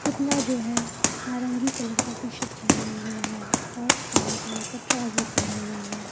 पुतला जो है नारंगी कलर का टी-शर्ट पेहने हुए है और काला कलर का ट्राउजर पेहनी हुई है।